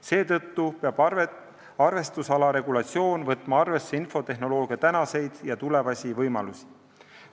Seetõttu peab arvestusala regulatsioon võtma arvesse infotehnoloogia tänaseid ja tulevasi võimalusi.